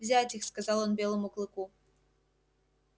взять их сказал он белому клыку